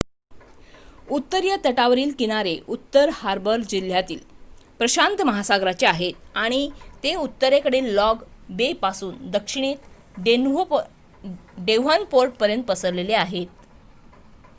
उत्तरीय तटावरील किनारे उत्तर हार्बर जिल्ह्यातील प्रशांत महासागराचे आहेत आणि ते उत्तरेतील लॉंग बे पासून दक्षिणेत डेव्हनपोर्टपर्यंत पसरलेले आहेत